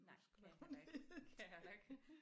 Nej kan jeg heller ikke det kan jeg heller ikke